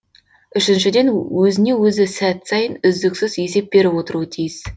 үшіншіден өзіне өзі сәт сайын үздіксіз есеп беріп отыруы тиіс